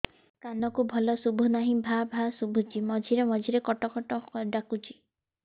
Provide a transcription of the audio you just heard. କାନକୁ ଭଲ ଶୁଭୁ ନାହିଁ ଭାଆ ଭାଆ ଶୁଭୁଚି ମଝିରେ ମଝିରେ କଟ କଟ ଡାକୁଚି